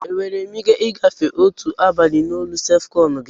Enwere m ike ị gafere otu abalị na olu sef-kon gi?